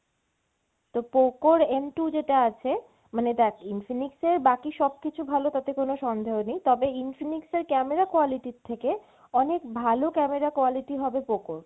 তো Poco র M two যেটা আছে মানে দেখ Infinix এর বাকি সবকিছু ভালো তাতে কোনো সন্দেহ নেই, তবে Infinix এর camera quality র থেকে অনেক ভালো camera quality হবে Poco র।